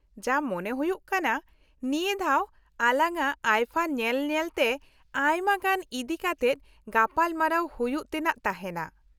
ᱡᱟ ᱢᱚᱱᱮ ᱦᱩᱭᱩᱜ ᱠᱟᱱᱟ, ᱱᱤᱭᱟᱹ ᱫᱷᱟᱣ ᱟᱞᱟᱝᱟᱜ ᱟᱭᱯᱷᱟ ᱧᱮᱞ ᱧᱮᱞᱛᱮ ᱟᱭᱢᱟ ᱜᱟᱱ ᱤᱫᱤ ᱠᱟᱛᱮᱫ ᱜᱟᱯᱟᱞ ᱢᱟᱨᱟᱣ ᱦᱩᱭᱩᱜ ᱛᱮᱱᱟᱜ ᱛᱟᱦᱮᱱᱟ ᱾